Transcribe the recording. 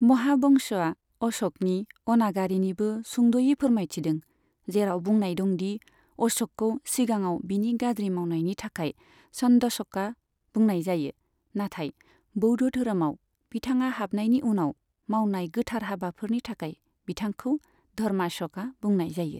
महावंशआ अश'कनि अनागारिनिबो सुंदयै फोरमायथिदों, जेराव बुंनाय दं दि अश'कखौ सिगाङाव बिनि गाज्रि मावनायनि थाखाय चन्दाश'का बुंनाय जायो, नाथाय बौद्ध धोरोमाव बिथांङा हाबनायनि उनाव मावनाय गोथार हाबाफोरनि थाखाय बिथांखौ धर्माश'का बुंनाय जायो।